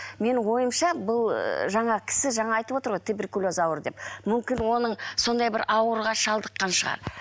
менің ойымша бұл ы жаңағы кісі жаңа айтып отыр ғой туберкулез ауруы деп мүмкін оның сондай бір ауруға шалдыққан шығар